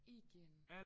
Igen